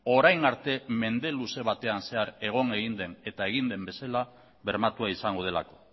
orain arte mende luze batean zehar egon egin den eta egin den bezala bermatua izango delako